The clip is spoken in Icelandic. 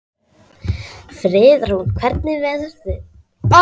Friðrún, hvernig verður veðrið á morgun?